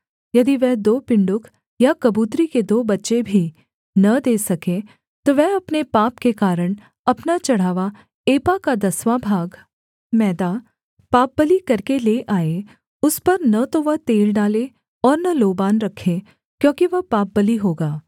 यदि वह दो पिण्डुक या कबूतरी के दो बच्चे भी न दे सके तो वह अपने पाप के कारण अपना चढ़ावा एपा का दसवाँ भाग मैदा पापबलि करके ले आए उस पर न तो वह तेल डाले और न लोबान रखे क्योंकि वह पापबलि होगा